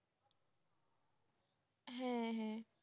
হ্যাঁ হ্যাঁ